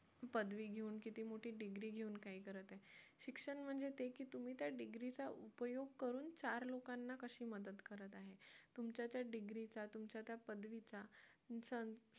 पदवी घेऊन किती मोठी degree घेऊन काय करत आहे शिक्षण म्हणजे ते की तुम्ही त्या degree चा उपयोग करून चार लोकांना कशी मदत करत आहे तुमच्या त्या degree चा तुमच्या त्या पदवीचा